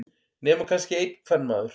Nema kannski einn kvenmaður.